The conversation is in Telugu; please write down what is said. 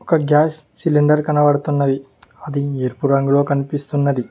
ఒక గ్యాస్ సిలిండర్ కనబడుతున్నది అది ఎరుపు రంగులో కనిపిస్తున్నది